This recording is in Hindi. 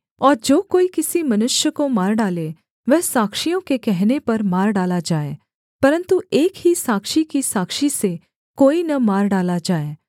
और जो कोई किसी मनुष्य को मार डाले वह साक्षियों के कहने पर मार डाला जाए परन्तु एक ही साक्षी की साक्षी से कोई न मार डाला जाए